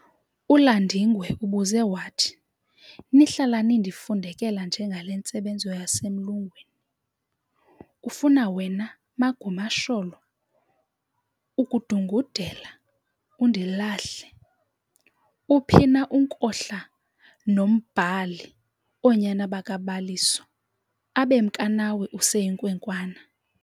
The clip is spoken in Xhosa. uLandingwe ubuze wathi, "Nihlala nindifundekela nje ngale ntsebenzo yasemlungwini, - ufuna wena "Magumasholo" ukudungudela, undilahle, - Uphina uNkohla noMbhali oonyana bakaBaliso, abemka nawe useyinkwenkwana?